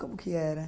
Como que era?